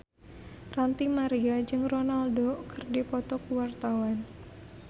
Ranty Maria jeung Ronaldo keur dipoto ku wartawan